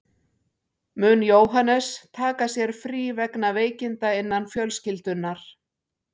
Mun Jóhannes taka sér frí vegna veikinda innan fjölskyldunnar.